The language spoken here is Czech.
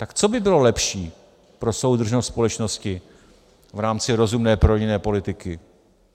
Tak co by bylo lepší pro soudržnost společnosti v rámci rozumné prorodinné politiky?